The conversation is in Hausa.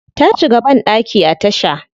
Ta shiga bandaki a tasha.